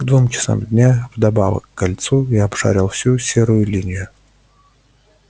к двум часам дня вдобавок к кольцу я обшарил всю серую линию